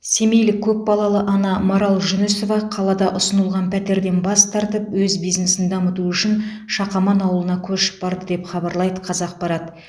семейлік көпбалалы ана марал жүнісова қалада ұсынылған пәтерден бас тартып өз бизнесін дамыту үшін шақаман ауылына көшіп барды деп хабарлайды қазақпарат